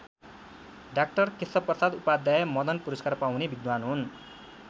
डा केशवप्रसाद उपाध्याय मदन पुरस्कार पाउने विद्वान हुन्।